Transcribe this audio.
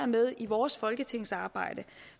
med i vores folketingsarbejde